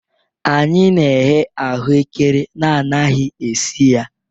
Anyị na-eghe ahụekere na anaghị esi ya